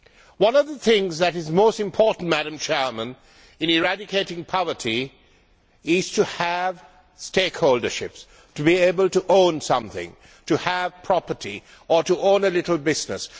One of the things that is most important in eradicating poverty is to have stakeholderships, to be able to own something, to have property or to own a small business.